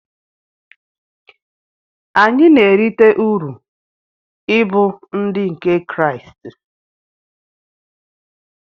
Anyị na-erite uru ịbụ Ndị Kraịst.